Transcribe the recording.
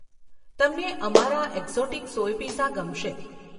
તમને અમારા exotic soy pizza ગમશે.